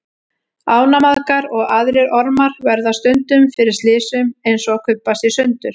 Ánamaðkar og aðrir ormar verða stundum fyrir slysum eins og að kubbast í sundur.